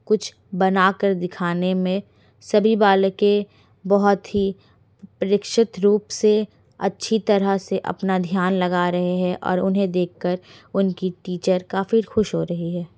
कुछ बनाकर दिखाने में सभी बालके बहुत ही परीक्षित रूप से अच्छी तरह से अपना ध्यान लगा रहे हैऔर उन्हे देख कर उनकी टीचर काफी खुश हो रही है।